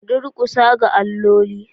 Ka durkusa ga alloli.